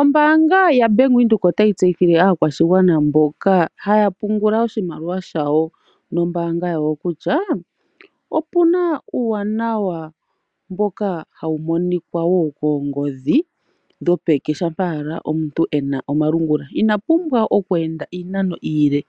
Ombaanga ya Bank Windhoek otayi tseyithile aakwashigwana mboka haya pungula oshimaliwa shawo nombaanga yawo, kutya opuna uuwanawa mboka hawu monikwa wo koongodhi dhopeke, shampa owala omuntu ena omalungula. Ina pumbwa oku enda iinano iile